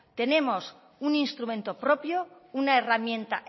tenemos un instrumento propio una herramienta